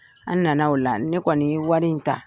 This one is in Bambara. An na na o la, ne kɔni ye wari in ta.